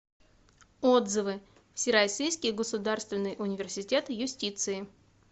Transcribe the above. отзывы всероссийский государственный университет юстиции